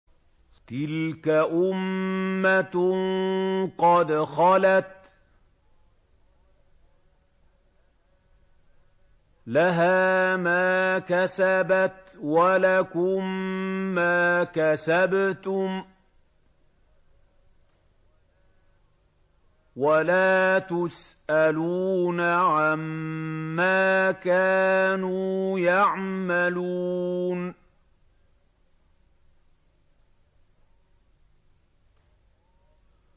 تِلْكَ أُمَّةٌ قَدْ خَلَتْ ۖ لَهَا مَا كَسَبَتْ وَلَكُم مَّا كَسَبْتُمْ ۖ وَلَا تُسْأَلُونَ عَمَّا كَانُوا يَعْمَلُونَ